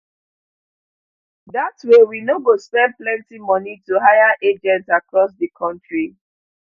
dat way we no go spend plenty moni to hire agents across di kontri